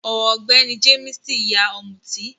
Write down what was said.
Ọ̀gbẹ́ní Jéímìsì yá Ọ̀mútì